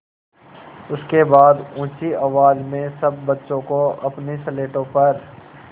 उसके बाद ऊँची आवाज़ में सब बच्चों को अपनी स्लेटों पर